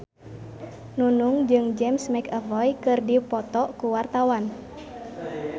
Nunung jeung James McAvoy keur dipoto ku wartawan